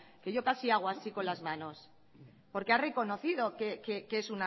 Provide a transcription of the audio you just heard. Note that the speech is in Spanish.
que yo casi hago así con las manos porque ha reconocido que es